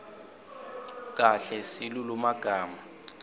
kahle silulumagama